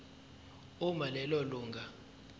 uma lelo lunga